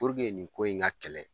nin ko in ka kɛlɛ